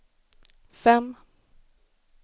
fem